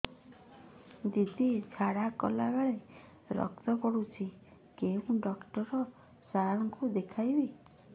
ଦିଦି ଝାଡ଼ା କଲା ବେଳେ ରକ୍ତ ପଡୁଛି କଉଁ ଡକ୍ଟର ସାର କୁ ଦଖାଇବି